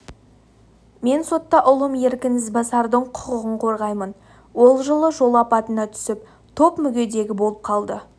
мен сотта ұлым еркін ізбасардың құқығын қорғаймын ол жылы жол апатына түсіп топ мүгедегі болып қалды